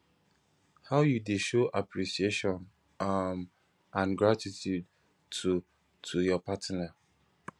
how you dey show appreciation um and gratitude to to your partner